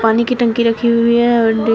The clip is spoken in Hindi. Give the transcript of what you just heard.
पानी की टंकी रखी हुई है और डे--